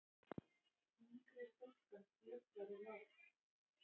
Yngri stúlkan kjökraði lágt.